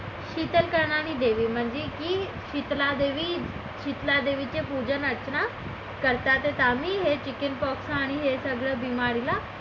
शितल करणारी देवी म्हणजे की शितलादेवी शितला देवीचे पूजन अर्चना करतात ते आम्ही हे chicken pox आणि हे सगळं बीमारीला